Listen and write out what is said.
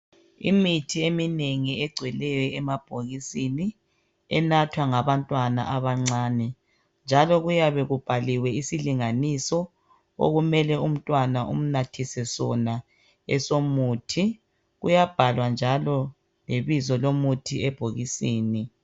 Imithi eminengi egcweleyo emabhokisi enathwa ngabantwana abancani njalo kuyabe kubhaliwe isilinganiso okumele umntwana umnathise sona njalo kuyabhalwa ibizo lomuthi ebhokisini